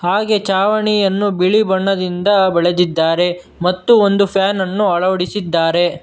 ಹಾಗೆ ಛಾವಣಿಯನ್ನು ಬಿಳಿ ಬಣ್ಣದಿಂದ ಬಳದಿದ್ದಾರೆ ಮತ್ತು ಒಂದು ಪ್ಯಾನನ್ನು ಅಳವಡಿಸಿದ್ದಾರೆ.